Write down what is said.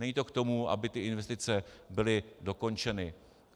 Není to k tomu, aby ty investice byly dokončeny.